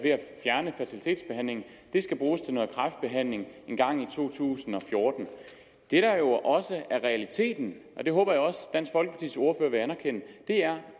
fjerne fertilitetsbehandlingen skal bruges til kræftbehandling engang i to tusind og fjorten det der jo også er realiteten og det håber jeg også dansk folkepartis ordfører vil anerkende er